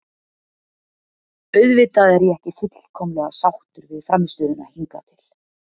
Auðvitað er ég ekki fullkomlega sáttur við frammistöðuna hingað til.